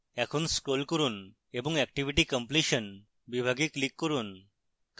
এখন scroll করুন এবং activity completion বিভাগে click করুন